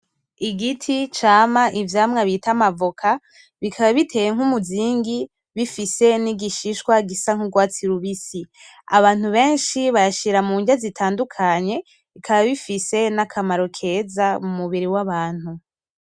Igiti cama ivyamwa bita amavoka bikaba biteye nk'umuzingi bifise n'igishishwa gisa nk'urwatsi rubisi, abantu benshi bayashira mu nrya zitandukanye bikaba bifise n'akamaro keza mu mubiri w'abantu.